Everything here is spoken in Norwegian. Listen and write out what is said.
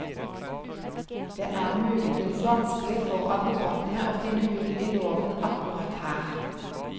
Det er muligens vanskelig for advokatene å finne hull i loven akkurat her.